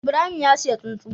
Ibrahim ya siya tsuntsu